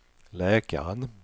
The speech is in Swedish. läkaren